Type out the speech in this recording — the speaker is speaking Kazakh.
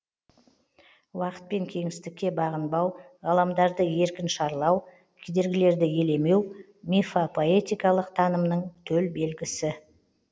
уақыт пен кеңістікке бағынбау ғаламдарды еркін шарлау кедергілерді елемеу мифопоэтикалық танымның төл белгісі